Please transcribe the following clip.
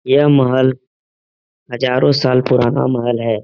ये महल हजारों साल पुराना महल हैं।